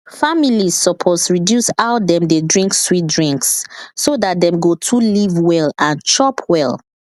families suppose reduce how dem dey drink sweet drinks so dat dem go to live well and chop well